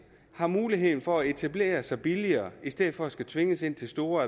har muligheden for at etablere sig billigere i stedet for at skulle tvinges ind til store